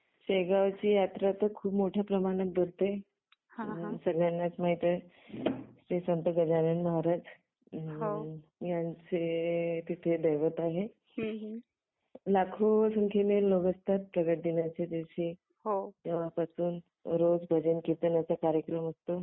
शेगावची ती यात्रा तर खूप मोठ्या प्रमाणात भरते. सगळ्यांनाच माहिती आहे श्री संत गजानन महाराज यांचे तिथे दैवत आहे. लाखो संख्येने लोक असतात प्रकट दिनाच्या दिवशी तेव्हापासून रोज कीर्तनाचा कार्यक्रम असतो.